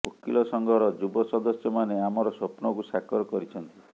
ଓକିଲ ସଂଘର ଯୁବ ସଦସ୍ୟମାନେ ଆମର ସ୍ୱପ୍ନକୁ ସାକାର କରିଛନ୍ତି